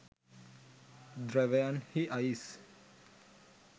ධ්‍රැවයන් හි අයිස්